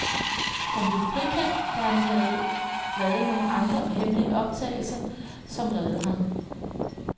Han blev frikendt, da han havde lavet nogle andre hemmelige optagelser, som reddede ham.